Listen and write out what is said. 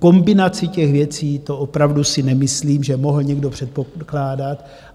Kombinaci těch věcí, to opravdu si nemyslím, že mohl někdo předpokládat.